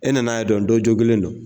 E nana yan dɔn cɔ kelen don.